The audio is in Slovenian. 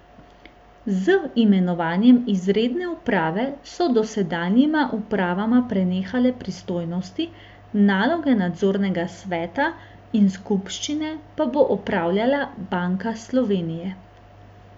Z imenovanjem izredne uprave so dosedanjima upravama prenehale pristojnosti, naloge nadzornega sveta in skupščine pa bo opravljala Banka Slovenije.